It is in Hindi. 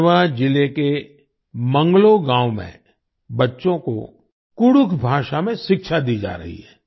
गढ़वा जिले के मंगलो गांव में बच्चों को कुडुख भाषा में शिक्षा दी जा रही है